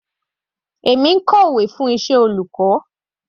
Èmi ń kọ ìwé fún iṣẹ́ olùkọ́.